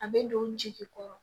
A bɛ don jeli kɔrɔ